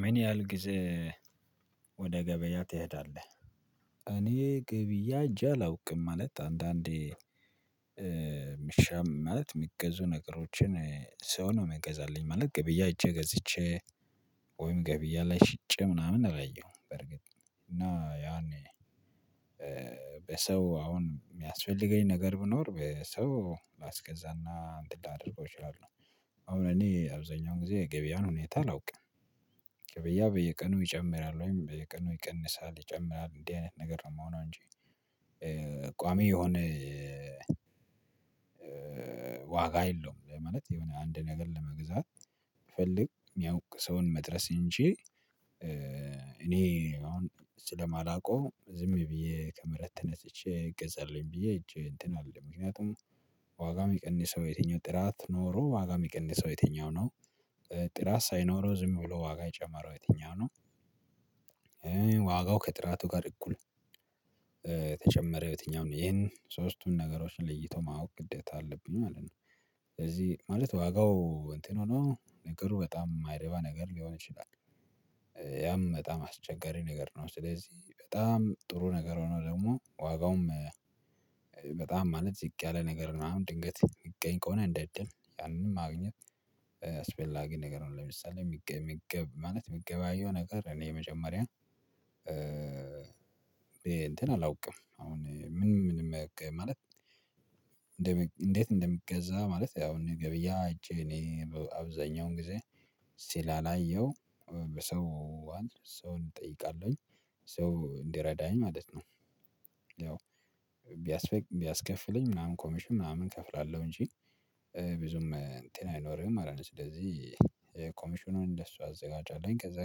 ምን ያህል ጊዜ ወደ ገበያ ትሄዳለህ? እኔ ገበያ ሂጄ አላውቅም ማለት አንዳንዴ ምሻም ማለት የሚገዙ ነገሮችን ሰው ነው መገዛልኝ ማለት ገበያ አይቼ ገዝቼ ወይም ገበያ ላይ ሽጬ ምናምን አላየሁም በርግጥ እና ያኔ በሰው አሁን የሚያስፈልገኝ ነገር ብኖር በሰው ላስገዛና አንተን ላደርገው እችላለሁ አሁን እኔ አብዛኛውን ጊዜ ገበያን ሁኔታ አላውቅም። ገበያ በየቀኑ ይጨምራል ወይም በየቀኑ ይቀንሳል ይጨምራል እንዲህ አይነት ነገር ነው የምሆነው እንጂ ቋሚ የሆነ ዋጋ የለውም ማለት የሆነ አንድ ነገር ለመግዛት ፈልግ የሚያውቅ ሰውን መድረስ እንጂ እኔ አሁን ስለማላውቀው ዝም ብዬ ከመሬት ተነስቼ ይገዛልኝ ብዬ ሂጄ እንትን አልልም ምክንያቱም ዋጋውን ምቀነሰው ዬትኛው ጥራት ኖሮ ዋጋው የሚቀንሰው የትኛው ነው? ጥራት ሳይኖረው ዝም ብሎ ዋጋ የጨመረው ዬትኛው ነው? ዋጋው ከጥራቱ ጋር እኩል ተጨመረ ዬትኛው ነው ይሄን ሶስቱን ነገሮችን ለይቶ ማወቅ ግደታ አለብኝ ማለት ነው። ስለዚህ ማለት ዋጋው እንትን ሆኖ ነገሩ በጣም ማይረባ ነገር ሊሆን ይችላል። ያም በጣም አስቸጋሪ ነገር ነው ስለዚህ በጣም ጥሩ ነገር ሆኖ ደግሞ ዋጋውም በጣም ማለት ዝቅ ያለ ነገር ምናምን ድንገት የሚገኝ ከሆነ እንደ እድል ያንን ማግኘት አስፈላጊ ነገር ነው። ለምሳሌ የሚገብ የሚገብ ማለት የሚገበያየው ነገር እኔ የመጀመሪያ እንትን አላውቅም አሁን ምን ምን ማለት እንዴት እንደሚገዛ ማለት ያው አኔ ገበያ ሄጄ እኔ አብዛኛውን ጊዜ ስላላየው ሰው ሰው እጠይቃለሁኝ ሰው እንዲረዳኝ ማለት ነው። ያው ቢያስከፍለኝ ምናምን ኮሚሽን ምናምን እከፍላለሁ እንጂ ብዙም እንትን አይኖርህም አላልንም ስለዚህ ኮሚሽኑን እንደሱ አዘጋጃለሁኝ ከዛ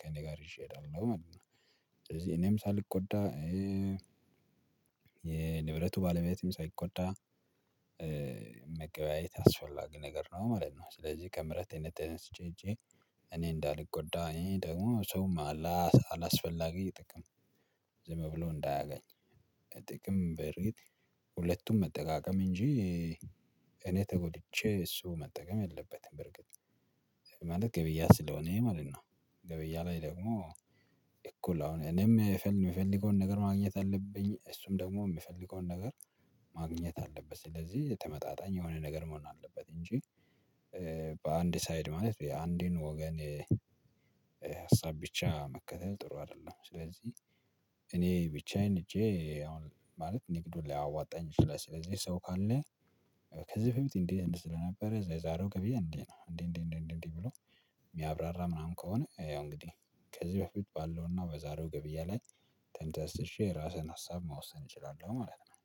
ከእኔ ጋር ይዤ እሄዳለሁ ማለት ነው ስለዚህ እኔም ሳልጎዳ የንብረቱ ባለቤትም ሳይጎዳ መገበያየት አስፈላጊ ነገር ነው ማለት ነው። ስለዚህ ከምህረት እኔ ተነስቼ ሄጄ እኔ እንዳልጎዳኝ ደግሞ ሰውም አላስ አላስፈላጊ ጥቅም ዝም ብሎ እንዳያገኝ ጥቅም በርግጥ ሁለቱም መጠቃቀም እንጂ እኔ ተጎድቼ እሱ መጠቀም የለበትም በርግጥ ማለት ገበያ ስለሆነ ይሄ ማለት ነው። ገበያ ላይ ደግሞ እኮ ላሁን እኔም የምፈልገውን ነገር ማግኘት አለብኝ እሱም ደግሞ የምፈልገውን ነገር ማግኘት አለበት ስለዚህ ተመጣጣኝ የሆነ ነገር መሆን አለበት እንጂ በአንድ ሳይድ ማለት አንድን ወገን ሀሳብ ብቻ መከተል ጥሩ አይደለም ስለዚህ እኔ ብቻዬን ህጄ አሁን ማለት ንግዱን ላይ አዋጣኝ ይችላል ስለዚህ ሰው ካለ ከዚህ በፊት እንዴ አይነት ስለነበረ የዛሬው ገብያ እንዲ ነው እንዲ እንዲ እንዲ እንዲ ብሎ የሚያብራራ ምናምን ከሆነ ያው እንግዲህ ከዚህ በፊት ባለውና በዛሬው ገበያ ላይ ተንተስሼ የራስህን ሀሳብ መወሰን እችላለው ማለት ነው።